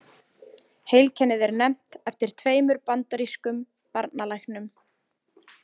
Heilkennið er nefnt eftir tveimur bandarískum barnalæknum.